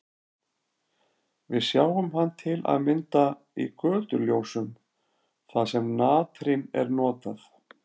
Við sjáum hann til að mynda í götuljósum þar sem natrín er notað.